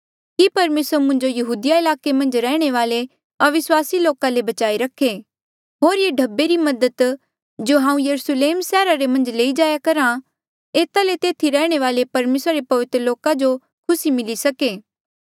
कि परमेसर मुंजो यहूदिया ईलाके मन्झ रैहणे वाले अविस्वासी लोका ले बचाई रखे होर ये ढब्बे री मदद जो हांऊँ यरुस्लेम सैहरा रे मन्झ लेई जाई करहा एता ले तेथी रैहणे वाले परमेसरा रे पवित्र लोका जो खुसी मिली सके